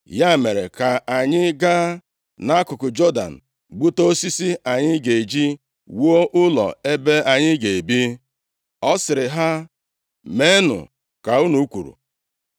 Ya mere, ka anyị gaa nʼakụkụ Jọdan gbute osisi anyị ga-eji wuo ụlọ ebe anyị ga-ebi.” Ọ sịrị ha, “Meenụ ka unu kwuru.”